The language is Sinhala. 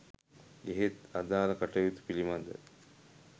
එහෙත් අදාල කටයුතු පිලිබඳ